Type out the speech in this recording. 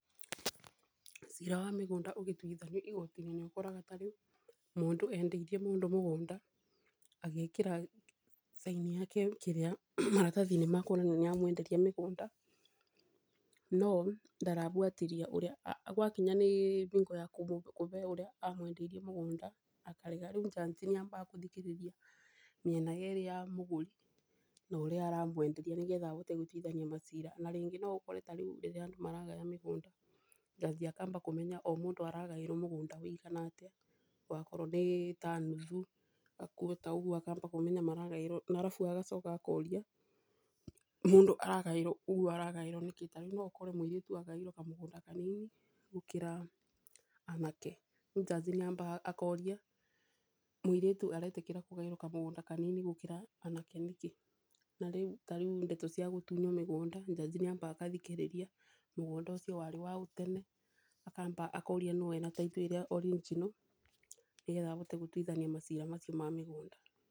Cira wa mĩgũnda ũgĩtuithanio igoti-inĩ nĩ ũkoraga ta rĩu mũndũ endeirie mũndũ mũgũnda agĩkĩra thaĩni ya ke maratathi-inĩ makuonania nĩ amũenderia mũgũnda, no ndarabuatĩrĩra gwakinya nĩ bingo ya kube ũrĩa amwendeirie mũgũnda akarega. Rĩu njanji nĩ ambaga kũthikĩrĩria mĩena yerĩ ya mũgũri na ũrĩa aramwenderia, nĩ getha ahoite gũtuithania macira. Na rĩngĩ no ũkore tarĩu rĩrĩa andũ maragaya mĩgũnda njanji akamba kũmenya o mũndũ aragaĩrwo mũgũnda wigana atĩa, wakorwo nĩ ta nuthu kana kwota ũguo akamba kũmenya maragaĩrwo. Na arabu agacoka akoria mũndũ aragaĩrwo ũguo aragaĩrwo nĩkĩ, ta rĩu no ũkore mũirĩtu aragaĩrwo kamũgũnda kanini gũkĩra anake. Njanji nĩ amaga akoria mũiritu ũyũ aretĩkĩra kũgaĩrwo kamũgũnda kanini gũkĩra anake nĩkĩ. Ta rĩu ndeto cia gũtunywo mũgũnda njanji nĩ ambaga agathikĩrĩria mũgũnda ũcio warĩ waũ tene, akamba akoria nũũ wĩna taitũ ĩrĩa original, nĩgetha ahote gũtuithania macira macio ma mĩgũnda.